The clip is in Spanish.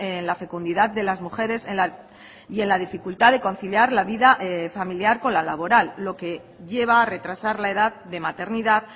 en la fecundidad de las mujeres y en la dificultad de conciliar la vida familiar con la laboral lo que lleva a retrasar la edad de maternidad